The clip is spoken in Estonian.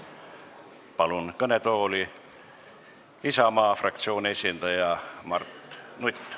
Palun kõnetooli Isamaa fraktsiooni esindaja Mart Nuti!